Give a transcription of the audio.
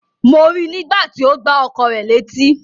Mo rí nígbà tí ó gbá ọkọ rẹ̀ létí.